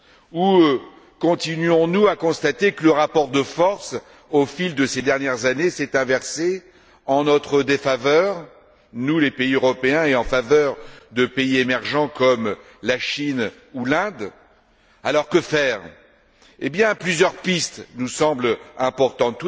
Ou continuons nous à constater que le rapport de force, au fil de ces dernières années, s'est inversé en notre défaveur, nous les pays européens, et en faveur de pays émergents comme la Chine ou l'Inde? Que faire? Plusieurs pistes nous semblent importantes.